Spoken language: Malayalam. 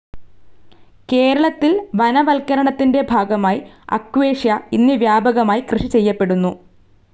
കേരളത്തിൽ വനവത്കരണത്തിൻ്റെ ഭാഗമായി അക്വേഷ്യ ഇന്ന് വ്യാപകമായി കൃഷി ചെയ്യപ്പെടുന്നു.